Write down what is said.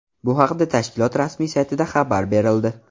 Bu haqda tashkilot rasmiy saytida xabar berildi .